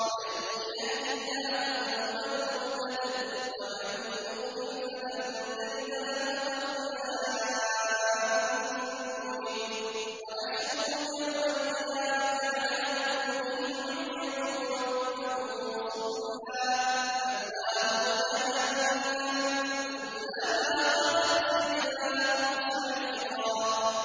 وَمَن يَهْدِ اللَّهُ فَهُوَ الْمُهْتَدِ ۖ وَمَن يُضْلِلْ فَلَن تَجِدَ لَهُمْ أَوْلِيَاءَ مِن دُونِهِ ۖ وَنَحْشُرُهُمْ يَوْمَ الْقِيَامَةِ عَلَىٰ وُجُوهِهِمْ عُمْيًا وَبُكْمًا وَصُمًّا ۖ مَّأْوَاهُمْ جَهَنَّمُ ۖ كُلَّمَا خَبَتْ زِدْنَاهُمْ سَعِيرًا